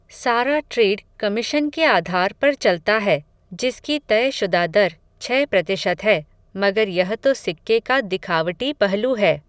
सारा trade commission के आधार पर चलता है, जिसकी तयशुदा दर, छह प्रतिशत है, मगर यह तो सिक्के का दिखावटी पहलू है